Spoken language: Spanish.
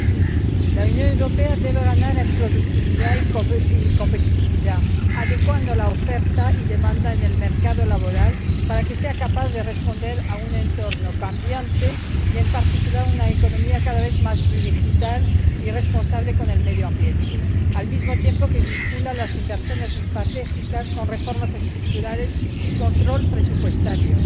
2020. La Unión Europea debe ganar en productividad y competitividad, adecuando la oferta y la demanda en el mercado laboral para que sea capaz de responder a un entorno cambiante y, en particular, a una economía cada vez más digital y responsable con el medio ambiente, al mismo tiempo que vincula las inversiones estratégicas a reformas estructurales y control presupuestario.